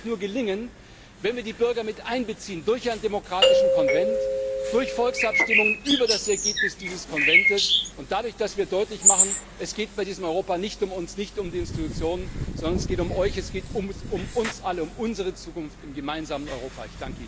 Das wird uns nur gelingen, wenn wir die Bürger mit einbeziehen durch einen demokratischen Konvent, durch Volksabstimmungen über das Ergebnis dieses Konvents und dadurch, dass wir deutlich machen, es geht bei diesem Europa nicht um uns, nicht um die Institutionen, sondern es geht um euch, es geht um uns alle, um unsere Zukunft im gemeinsamen Europa!